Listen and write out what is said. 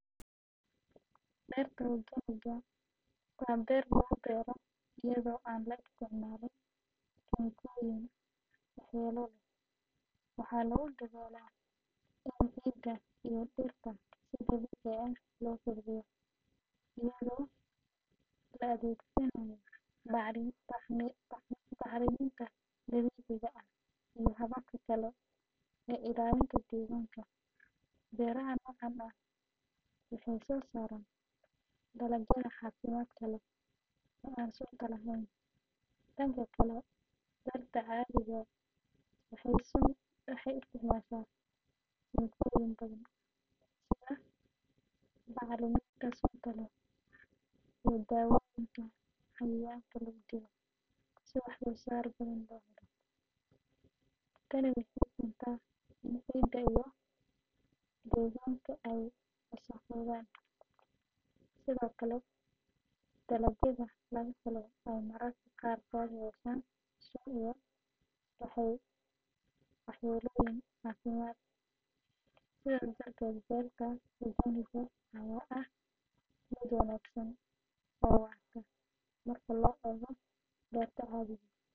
Berta ogaaniga waa beer lagu beero iyadoo aan la isticmaalin kiimikooyin waxyeello leh. Waxaa lagu dadaalaa in ciidda iyo dhirta si dabiici ah loo kobciyo iyadoo la adeegsanayo bacriminta dabiiciga ah iyo hababka kale ee ilaalinta deegaanka. Beeraha noocan ah waxay soo saaraan dalagyada caafimaadka leh ee aan sunta lahayn. Dhanka kale, berta cadhiga waxay isticmaashaa kiimikooyin badan sida bacriminta sunta leh iyo dawooyinka cayayaanka lagu dilo si wax soo saar badan loo helo. Tani waxay keentaa in ciidda iyo deegaanka ay wasakhoobaan, sidoo kalena dalagyada laga helo ay mararka qaarkood yeeshaan sun iyo waxyeellooyin caafimaad. Sidaas darteed, berta ogaaniga ayaa ah mid wanaagsan oo waarta marka loo eego berta cadhiga.